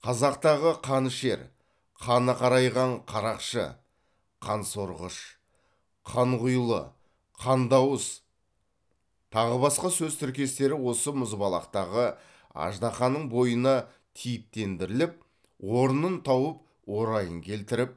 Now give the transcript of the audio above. қазақтағы қанішер қаны қарайған қарақшы қансорғыш қанқұйлы қандыауыз тағы басқа сөз тіркестері осы мұзбалақтағы аждаһаның бойына типтендіріліп орнын тауып орайын келтіріп